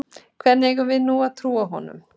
Hvernig eigum við nú að trúa honum?